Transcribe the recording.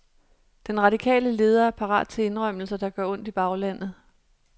Den radikale leder er parat til indrømmelser, der gør ondt i baglandet.